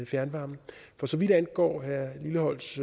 fjernvarme for så vidt angår herre lilleholts